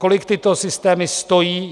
Kolik tyto systémy stojí?